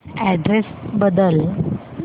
address बदल